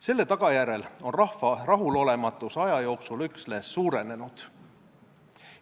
Selle tagajärjel on rahva rahulolematus aja jooksul üksnes suurenenud.